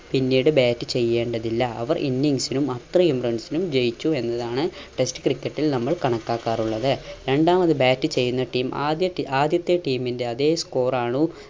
പിന്നീട് bat ചെയ്യേണ്ടതില്ല. അവർ innings നും അത്രയും runs നും ജയിച്ചു എന്നതാണ് test ക്രിക്കറ്റിൽ നമ്മൾ കണക്കാക്കാറുള്ളത്. രണ്ടാമത് bat ചെയ്യുന്ന team ആദ്യ ടി ആദ്യത്തെ team ൻറെ അതേ score ആണോ